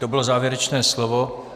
To bylo závěrečné slovo.